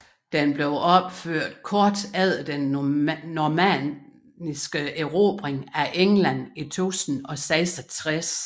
Den blev opført kort efter den normanniske erobring af England i 1066